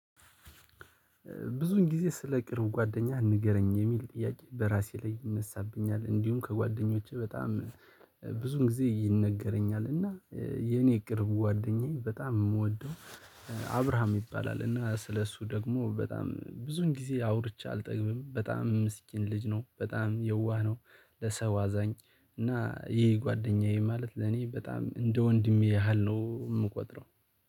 ብዙውን ጊዜ ስለ ቅርብ ጓደኛ ንገረኝ የሚል ጥያቄ በራሴ ላይ ይነሳብኛል። እንዲሁም ከጓደኞቼ በጠም ሚ ብዙ ግዜ ይነግረኛል። እና የእኔ ቅርብ ጓደኛ በጣም ምወደው። አብርሃም ይባላል እና ስለሱ ደግሞ በጣም ብዙን ጊዜ አውርቸ አልጠግብም በጣም ምስኪን ልጅ ነው በጣም የዋህ ነው። ለሰው አዛኝ እና ይሄ ጎደኛየ ማለት ለኔ በጣም እንደ ወንድሜ ያህል ነው ምቆጥረው